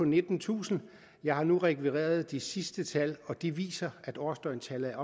nittentusind og jeg har nu rekvireret de sidste tal og de viser at årsdøgntallet er